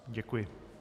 Děkuji.